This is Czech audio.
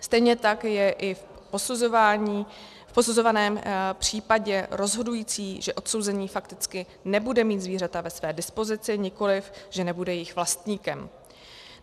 Stejně tak je i v posuzovaném případě rozhodující, že odsouzený fakticky nebude mít zvířata ve své dispozici, nikoliv že nebude jejich vlastníkem.